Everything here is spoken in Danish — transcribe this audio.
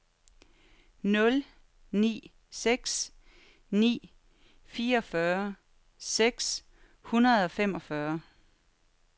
nul ni seks ni fireogfyrre seks hundrede og femogfyrre